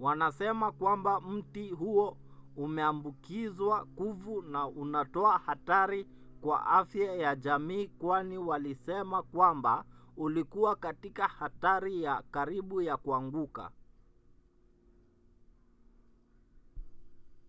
wanasema kwamba mti huo umeambukizwa kuvu na unatoa hatari kwa afya ya jamii kwani walisema kwamba ulikuwa katika hatari ya karibu ya kuanguka